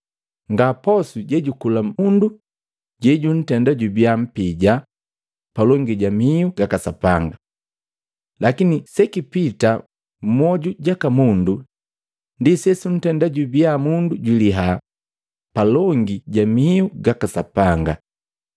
Nga posu jejukula mundu jejuntenda jubia mpija palongi ja mihu gaka Sapanga. Lakini sekipita mmoju jaka mundu ndi sesuntenda jubia mundu jwiliya palongi ja mihu gaka Sapanga.